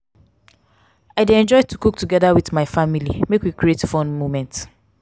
i dey enjoy to cook togeda with family make we create fun moments.